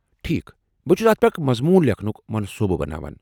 ٹھیٖک، بہٕ چھس اتھ پٮ۪ٹھ اکھ مضمون لیکھنٗک منصوبہٕ بناوان۔